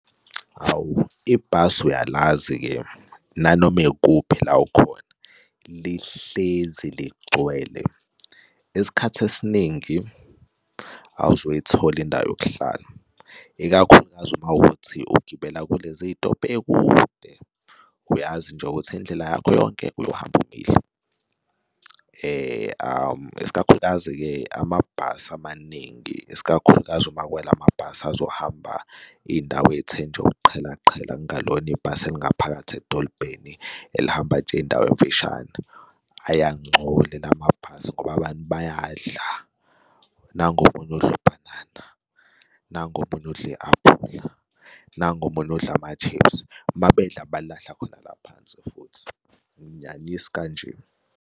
Hawu, ibhasi uyalazi-ke nanoma ikuphi la ukhona lihlezi ligcwele. Isikhathi esiningi awuzukuyithola indawo yokuhlala, ikakhulukazi uma kuwukuthi ugibela kulezitobhu ey'kude. Uyazi nje ukuthi indlela yakho yonke uyohamba umile iskakhulukazi-ke amabhasi amaningi isikakhulukazi uma kuyila mabhasi azohamba iy'ndawo ey'the nje ukuqhela qhela engalona ibhasi elingaphakathi edolobheni elihamba nje Iy'ndawo ey'mfishane ayangcola lamabhasi ngoba abantu bayadla. Nangu omunye udla ubhanana, nangu omunye udla i-aphula, nangu omunye udla ama-chips, uma bedla balahla khona la phansi futhi. Ayinginyanyisi kanje.